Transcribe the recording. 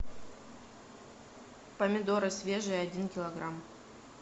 помидоры свежие один килограмм